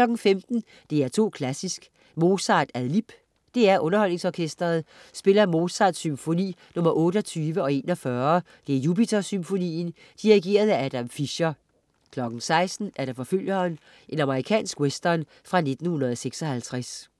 15.00 DR2 Klassisk: Mozart ad lib. DR UnderholdningsOrkestret spiller Mozarts symfoni nr. 28 og 41 (Jupitersymfonien). Dirigent: Adam Fischer 16.00 Forfølgeren. Amerikansk western fra 1956